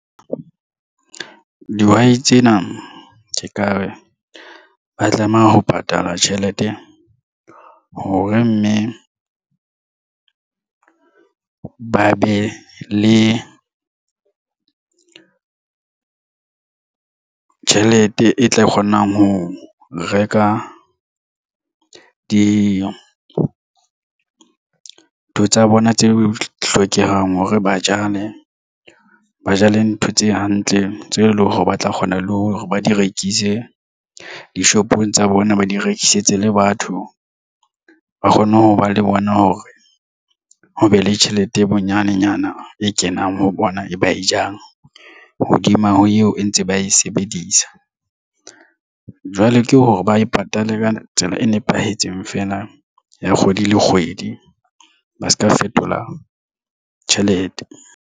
Dihwai tsena ke ka re be ba tlameha ho patala tjhelete hore mme ba be le tjhelete e tla kgonang ho reka dintho tsa bona tse hlokehang hore ba jale ba jale ntho tse hantle tse leng hore ba tla kgona le hore ba di rekise dishopong tsa bona ba di rekisetse le batho ba kgone ho ba le bona hore ho be le tjhelete bonyane nyana e kenang ho bona e ba e jang hodima ho eo, e ntse ba e sebedisa jwale ke hore ba e patale ka tsela e nepahetseng. Fela ya kgwedi le kgwedi ba se ka fetola tjhelete.